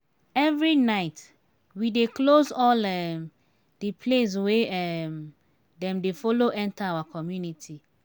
every night we dey close all um di place wey um dem dey folo enta our community.